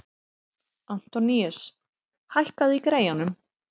Antoníus, hækkaðu í græjunum.